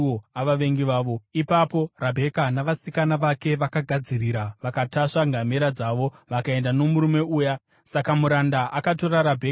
Ipapo Rabheka navasikana vake vakagadzirira vakatasva ngamera dzavo vakaenda nomurume uya. Saka muranda akatora Rabheka akabva aenda.